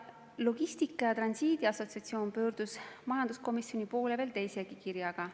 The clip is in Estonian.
Logistika ja Transiidi Assotsiatsioon pöördus majanduskomisjoni poole veel teisegi kirjaga.